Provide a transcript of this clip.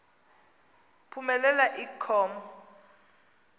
phumelela i com